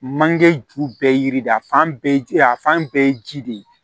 Manje ju bɛɛ ye yiri de ye a fan bɛɛ a fan bɛɛ ye ji de ye